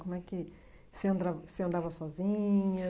Como é que você andra você andava sozinha?